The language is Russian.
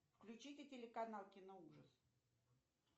включите телеканал киноужас